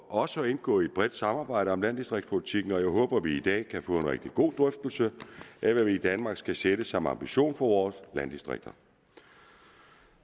også at indgå i et bredt samarbejde om landdistriktspolitikken og jeg håber at vi i dag kan få en rigtig god drøftelse af hvad vi i danmark skal sætte som ambition for vores landdistrikter